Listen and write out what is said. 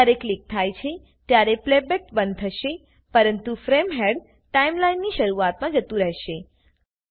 જ્યારે ક્લિક થાય છે ત્યારે પ્લેબેક બંધ થશે પરંતુ ફ્રેમ હેડ ટાઈમલાઈનની શરૂઆતમાં જતું રહેશે